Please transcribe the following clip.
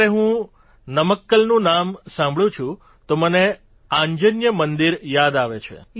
જયારે હું નમક્કલનું નામ સાંભળું છું તો મને આંજનેય મંદિર યાદ આવે છે